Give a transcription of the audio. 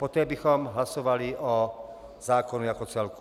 Poté bychom hlasovali o zákonu jako celku.